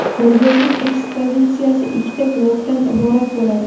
Ko‘rgazma ekspozitsiyasi ikkita blokdan iborat bo‘ladi.